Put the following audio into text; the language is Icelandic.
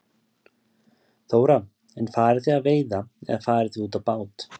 Þóra: En farið þið að veiða eða farið þið út á bát?